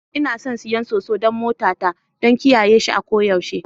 Ina son siyan Soso don motata. don kiyaye shi a koyaushe